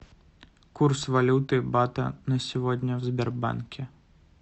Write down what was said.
курс валюты бата на сегодня в сбербанке